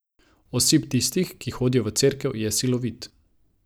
Osip tistih, ki hodijo v cerkev, je silovit.